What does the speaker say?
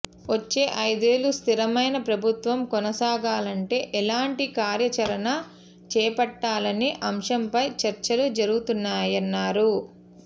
వచ్చే ఐదేళ్లు స్థిరమైన ప్రభుత్వం కొనసాగాలంటే ఎలాంటి కార్యాచరణ చేపట్టాలనే అంశంపై చర్చలు జరుగుతున్నాయన్నారు